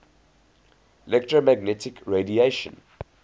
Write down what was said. electromagnetic radiation